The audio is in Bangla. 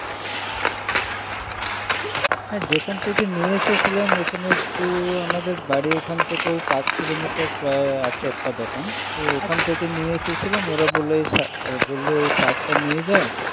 হ্যাঁ যেখান থেকে নিয়ে এসেছিলাম এখানে একটু আমাদের বাড়ি ওখান থেকে এই পাঁচ কিলোমিটার প্রায় আছে একটা দোকান আচ্ছা তো ওখান থেকে নিয়ে এসেছিলাম ওরা বলল এই সার বলল এই সার টা নিয়ে যাও।